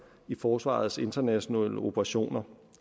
i forsvarets internationale operationer